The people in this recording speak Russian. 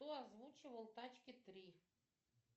кто озвучивал тачки три